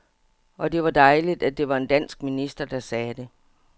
Og det var dejligt, at det var en dansk minister, der sagde det.